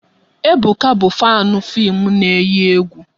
Ebuka bụ fanu fim na eyi egwu